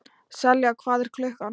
Selja, hvað er klukkan?